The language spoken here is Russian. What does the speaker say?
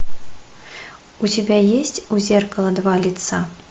у тебя есть у зеркала два лица